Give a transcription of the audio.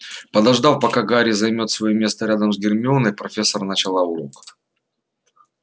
подождав пока гарри займёт своё место рядом с гермионой профессор начала урок